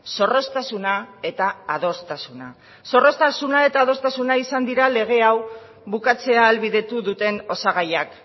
zorroztasuna eta adostasuna zorroztasuna eta adostasuna izan dira lege hau bukatzea ahalbidetu duten osagaiak